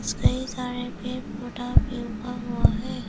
कई सारे पेड़ पौधा भी उगा हुआ है।